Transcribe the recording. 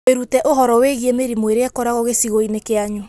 Wĩrute ũhoro wĩgiĩ mĩrimũ ĩrĩa ĩkoragwo gĩcigo-inĩ kĩanyu.